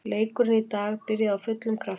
Leikurinn í dag byrjaði af fullum krafti.